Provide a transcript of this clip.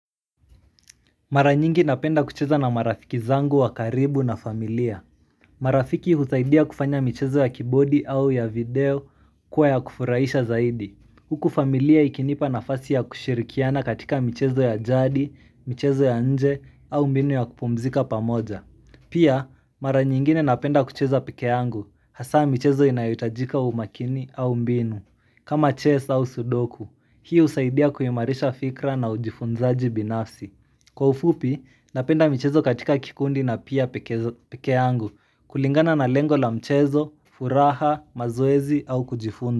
Mara nyingi napenda kucheza na marafiki zangu wa karibu na familia. Marafiki husaidia kufanya mchezo ya keyboardi au ya video kuwa ya kufuraisha zaidi. Huku familia ikinipa nafasi ya kushirikiana katika mchezo ya jadi, mchezo ya nje au mbinu ya kupumzika pamoja. Pia, mara nyingine napenda kucheza peke yangu, hasa mchezo inayohitajika umakini au mbinu, kama chess au sudoku. Hii husaidia kuimarisha fikra na ujifunzaji binafsi. Kwa ufupi, napenda mchezo katika kikundi na pia peke angu kulingana na lengo la mchezo, furaha, mazoezi au kujifunda.